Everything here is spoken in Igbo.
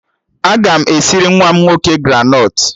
Aga m esiri nwa m nwoke granọt